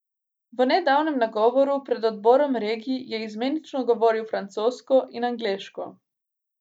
V nedavnem nagovoru pred Odborom regij je izmenično govoril francosko in angleško.